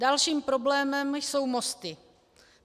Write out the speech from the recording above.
Dalším problémem jsou mosty.